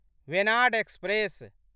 Venad express